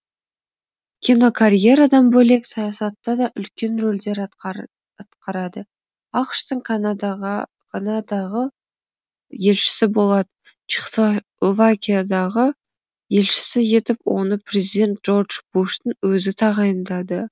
кинокарьерадан бөлек саясатта да үлкен рольдер атқарады ақш тың канадағы елшісі болады чехословакиядағы елшісі етіп оны президент джордж буштың өзі тағайындады